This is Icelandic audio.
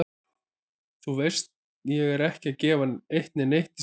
Þú veist ég er ekki að gefa eitt né neitt í skyn.